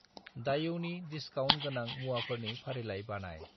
दायऔनि discount गोनां मुवाफोरनि फारिलाइ बानाय।